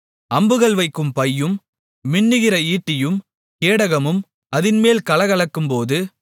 அம்புகள் வைக்கும் பையும் மின்னுகிற ஈட்டியும் கேடகமும் அதின்மேல் கலகலக்கும்போது